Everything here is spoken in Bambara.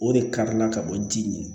O de karila ka bɔ ji ɲɛ